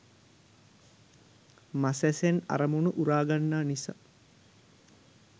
මසැසෙන් අරමුණ උරාගන්නා නිසා